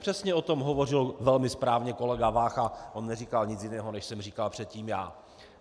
Přesně o tom hovořil velmi správně kolega Vácha, on neříkal nic jiného, než jsem říkal předtím já.